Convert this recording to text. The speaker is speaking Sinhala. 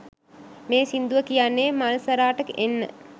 මේ සින්දුව කියන්නේ මල්සරාට එන්න